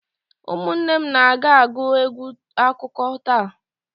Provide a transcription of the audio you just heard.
Ụmụnne na m ga-agụ egwu akụkọ taa.